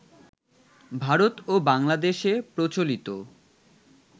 ভারত ও বাংলাদেশে প্রচলিত